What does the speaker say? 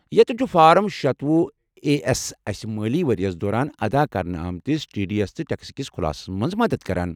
یتٮ۪ن چھُ فارم شتوُہ اےایس اسہِ مٲلی ؤرِیَس دوران ادا کرنہٕ آمٕتِس ٹی ڈی ایس تہٕ ٹیکس کِس خُلاصس مَنٛز مدد کران